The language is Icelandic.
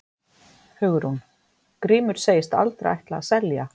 Hugrún: Grímur segist aldrei ætla að selja?